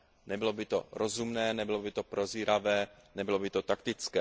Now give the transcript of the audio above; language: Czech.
Nebylo by to rozumné, nebylo by to prozíravé, nebylo by to taktické.